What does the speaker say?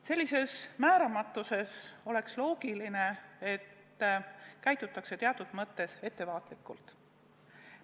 Sellises määramatuses oleks loogiline, et käitutakse teatud mõttes ettevaatlikult.